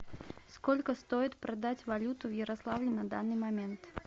сколько стоит продать валюту в ярославле на данный момент